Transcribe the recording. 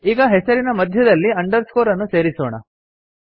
ಈಗ ಹೆಸರಿನ ಮಧ್ಯದಲ್ಲಿ ಅಂಡರ್ಸ್ಕೋರ್ ಅನ್ನು ಸೇರಿಸೋಣ